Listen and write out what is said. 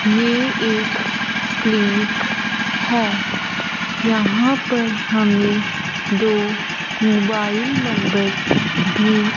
ये एक क्लीनिक है यहां पर हमें दो मोबाइल नंबर भी--